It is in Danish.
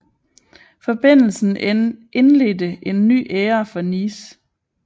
Forbindelsen indledte en ny æra for Nice